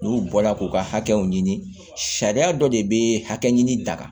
N'u bɔla k'u ka hakɛw ɲini sariya dɔ de bɛ hakɛ ɲini da kan